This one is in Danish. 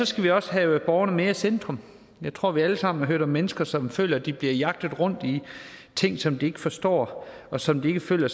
skal vi også have borgerne mere i centrum jeg tror at vi alle sammen har hørt om mennesker som føler at de bliver jagtet rundt i ting som de ikke forstår og som de ikke føler